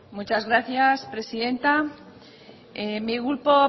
muchas gracias presidenta mi grupo